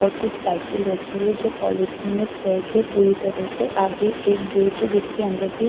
और कुछ साइकिल रखी है जो पॉलीथीन में पैक है पूरी तरह से आगे एक गेट है जिसके अंदर भी--